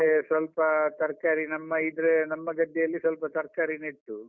ಮತ್ತೆ ಸ್ವಲ್ಪ ತರ್ಕಾರಿ ನಮ್ಮ ಇದ್ರೆ, ನಮ್ಮ ಗದ್ದೆಯಲ್ಲಿ ಸ್ವಲ್ಪ ತರ್ಕಾರಿ ನೆಟ್ಟು.